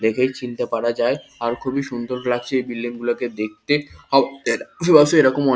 দেখেই চিনতে পারা যায় আর খুবই সুন্দর লাগছে এই বিল্ডিং -গুলোকে দেখতে অবশ্য এরকম।